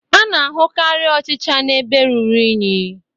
A na-ahụkarị ọchịcha n'ebe ruru unyi